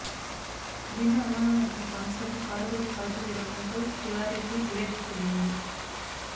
దీంతో అనుమానం వచ్చిన కానిస్టేబుల్ కారుపైకి కాల్పులు జరపడంతో తివారికి బుల్లెట్ తగిలింది